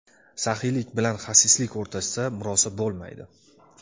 saxiylik bilan xasislik o‘rtasida murosa bo‘lmaydi.